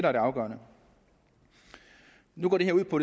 er det afgørende nu går det her ud på